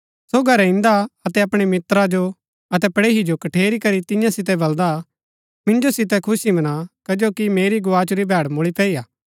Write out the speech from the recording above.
सो घरै ईदंआ अतै अपणै मित्रा जो अतै पड़ेही जो कठेरी करी तियां सितै बल्‍दा मिन्जो सितै खुशी मना कजो कि मेरी गोआचुरी भैड़ मुळी पैई हा